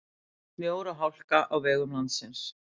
Snjór og hálka á vegum landsins